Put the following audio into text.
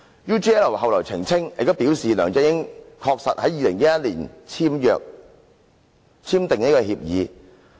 UGL 後來澄清及表示，梁振英確實在2011年簽訂協議。